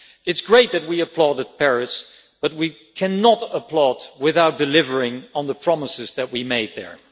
It is great that we applauded Paris, but we cannot applaud without delivering on the promises that we made there.